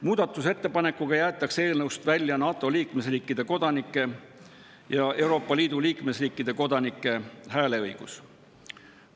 Muudatusettepanekuga jäetakse eelnõust välja NATO liikmesriikide kodanike ja Euroopa Liidu liikmesriikide kodanike hääleõigus.